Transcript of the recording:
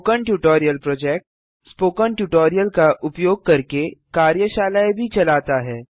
spoken tutorial project spoken tutorial का उपयोग करके कार्यशालाएँ भी चलाता है